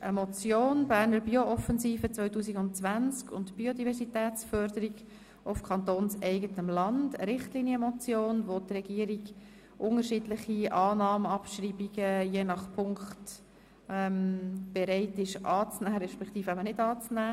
Es handelt sich um eine Richtlinienmotion, bei der die Regierung je nach Punkt unterschiedlich Annahme oder NichtAnnahme beantragt.